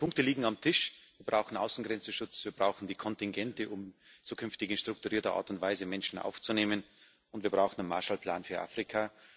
Die Punkte liegen auf dem Tisch. Wir brauchen Außengrenzenschutz, wir brauchen die Kontingente, um zukünftig in strukturierter Art und Weise Menschen aufzunehmen, und wir brauchen einen Marshallplan für Afrika.